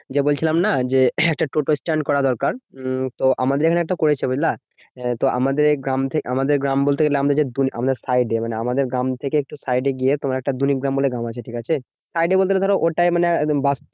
যে বলছিলাম না? যে একটা টোটোস্ট্যান্ড করা দরকার। উম তো আমাদের এখানে একটা করেছে বুঝলা? এ তো আমাদের গ্রাম থেকে আমাদের গ্রাম বলতে গেলে আমাদের যে আমাদের side এ মানে আমাদের গ্রাম থেকে একটু side এ গিয়ে তোমার একটা দলিগ্রাম বলে একটা গ্রাম আছে, ঠিকাছে? side এ বলতে গেলে ধরো ওটাই মানে একদম বাস